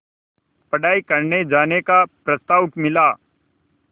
पढ़ाई करने जाने का प्रस्ताव मिला